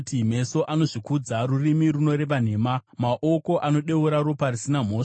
meso anozvikudza, rurimi runoreva nhema, maoko anodeura ropa risina mhosva,